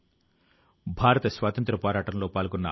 మీతో భేటీ అయ్యే అవకాశం లభిస్తుంది